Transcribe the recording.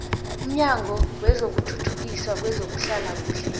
umnyango wokuthuthukiswa kwezehlalakuhle